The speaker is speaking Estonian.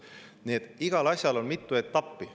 Nii et igal asjal on mitu etappi.